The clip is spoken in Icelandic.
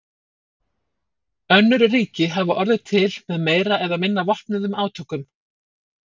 Önnur ríki hafa orðið til með meira eða minna vopnuðum átökum.